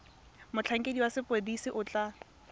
motlhankedi wa sepodisi o tla